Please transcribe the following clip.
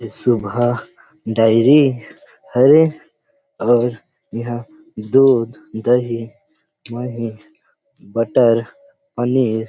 सुबह डेरी हरे अऊ इहां दूध दही बटर पनीर--